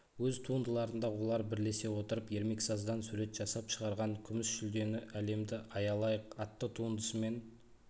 өз туындыларында олар бірлесе отырып ермексаздан сурет жасап шығарған күміс жүлдені әлемді аялайық атты туындысымен